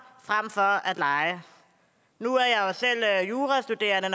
fremfor at lege nu er jeg selv jurastuderende